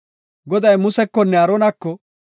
Goday Musekonne Aaronako,